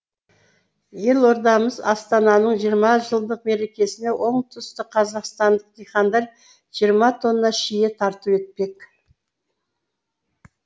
елордамыз астананың жиырма жылдық мерекесіне оңтүстік қазақстандық диқандар жиырма тонна шие тарту етпек